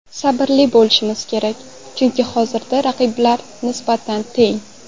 Sabrli bo‘lishmiz kerak, chunki hozirda raqiblar nisbatan teng.